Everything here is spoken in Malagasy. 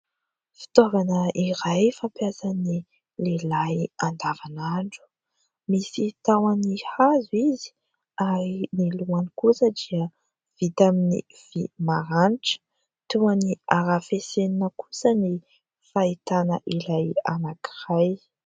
Fitaovana iray fampiasan'ny lehilahy andavanandro. Misy tahoany hazo izy ary ny lohany kosa dia vita amin'ny vy maranitra. Toa arafesenina kosa ny fahitana ilay anankiray.